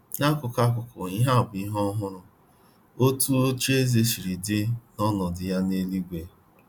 N'akụkụ, N'akụkụ, ihe a bụ ihe ohụrụ: “ Otu ocheeze si dị na ọnọdụ ya n’eluigwe...